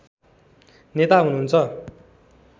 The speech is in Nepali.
नेता हुनुहुन्छ